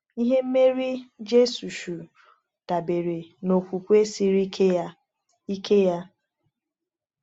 Ihe mmeri Jisọshụ dabere n’okwukwe siri ike ya. ike ya.